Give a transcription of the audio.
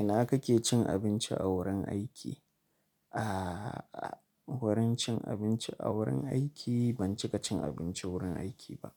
Ina kake cin abinci a wurin aiki? Aaa wurin cin abinci a wurin aiki, ban cika cin abinci wurin aiki ba.